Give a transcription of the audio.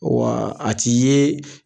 A tɛ ye